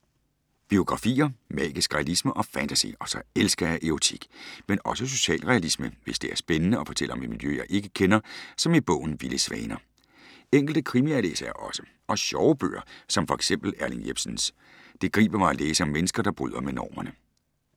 Biografier. Magisk realisme og fantasy. Og så elsker jeg erotik. Men også socialrealisme, hvis det er spændende og fortæller om et miljø, jeg ikke kender, som i bogen Vilde svaner. Enkelte krimier læser jeg også. Og sjove bøger, som for eksempel Erling Jepsens. Det griber mig at læse om mennesker, der bryder med normerne.